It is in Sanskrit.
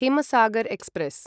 हिमसागर् एक्स्प्रेस्